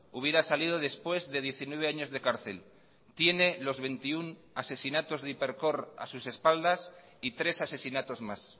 hubiera salido después de diecinueve años de cárcel tiene los veintiuno asesinatos de hipercor a sus espaldas y tres asesinatos más